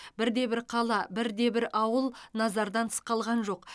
бірде бір қала бірде бір ауыл назардан тыс қалған жоқ